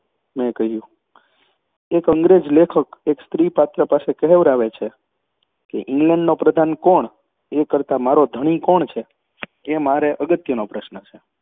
મેં કહ્યું એક અંગ્રેજ લેખક એક સ્ત્રીપાત્ર પાસે કહેવરાવે છે કે ઇંગ્લૅન્ડનો પ્રધાન કોણ છે એ કરતાં મારો ધણી કોણ છે એ મારે અગત્યનો પ્રશ્ન છે.